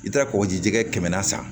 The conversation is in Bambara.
I bɛ taa kɔgɔji jɛgɛ kɛmɛna san